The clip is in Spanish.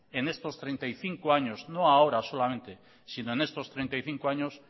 en estos treinta y cinco años no ahora solamente sino en estos treinta y cinco años